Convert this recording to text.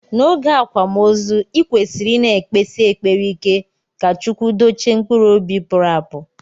Na oge akwamozu ikwesiri ina ekpesi ekpere ike ka chukwu dochie mkpụrụ ọbi puru apu.